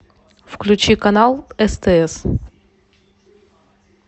включи канал стс